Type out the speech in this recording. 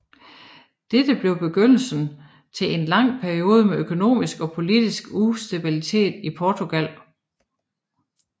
Dette blev begyndelsen til en lang periode med økonomisk og politisk ustabilitet i Portugal